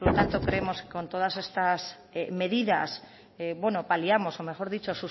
por lo tanto creemos que con todas estas medidas bueno paliamos o mejor dicho